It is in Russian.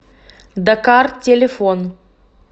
дакар телефон